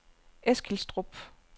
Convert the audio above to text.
Eskilstrup